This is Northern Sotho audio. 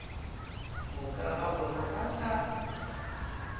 moka ga bona ba tla